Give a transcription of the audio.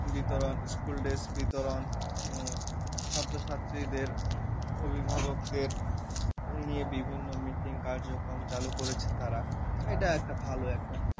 বিতরণ school dress বিতরণ উম ছাত্র ছাত্রীদের অভিভাবকদের নিয়ে বিভিন্ন meeting কার্যক্রম চালু করেছে তারা এটা একটা ভালো একটা